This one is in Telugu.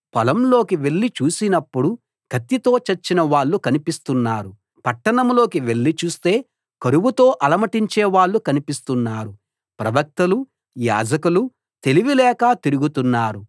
పొలంలోకి వెళ్లి చూసినప్పుడు కత్తితో చచ్చిన వాళ్ళు కనిపిస్తున్నారు పట్టణంలోకి వెళ్లి చూస్తే కరువుతో అలమటించే వాళ్ళు కనిపిస్తున్నారు ప్రవక్తలూ యాజకులూ తెలివిలేక తిరుగుతున్నారు